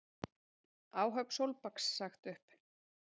Áhöfn Sólbaks sagt upp